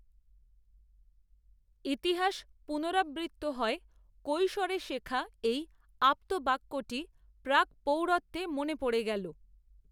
ইতিহাস পুনরাবৃত্ত হয় কৈশোরে শেখা এই আপ্তবাক্যটি প্রাকপ্রৌঢ়ত্বে মনে পড়ে গেল